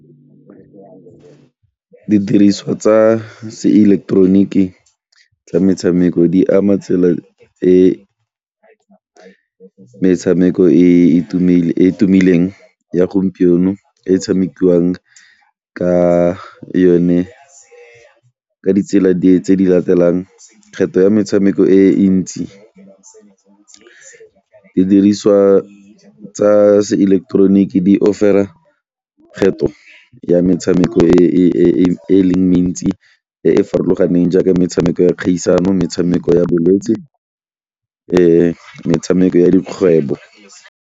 Didiriswa tsa seileketeroniki tsa metshameko di ama tsela e metshameko e e tumileng ya gompieno e tshamekiwang ka yone ka ditsela tse di latelang, kgetho ya metshameko e ntsi, didiriswa tsa seileketeroniki di kgetho ya metshameko e e leng mentsi e e farologaneng jaaka metshameko ya kgaisano, metshameko ya bolwetsi metshameko ya dikgwebo.